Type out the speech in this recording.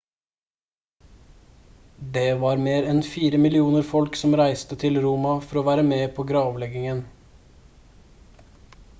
det var mer enn fire millioner folk som reiste til roma for å være med på gravleggingen